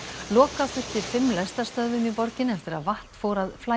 loka þurfti fimm lestarstöðvum í borginni eftir að vatn fór að flæða